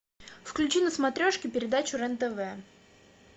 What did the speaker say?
включи на смотрешке передачу рен тв